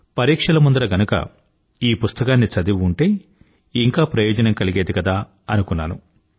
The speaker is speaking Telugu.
పరీక్షల ముందర గనుగ ఈ పుస్తకాన్ని చదివి ఉంటే ఇంకా ప్రయోజనం కలిగేది కదా అనుకున్నాను